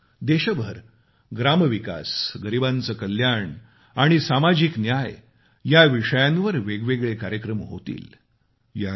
यात देशभर ग्रामविकास गरिबांचं कल्याण आणि सामाजिक न्याय या विषयांवर वेगवेगळे कार्यक्रम होतील